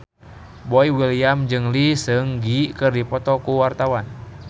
Boy William jeung Lee Seung Gi keur dipoto ku wartawan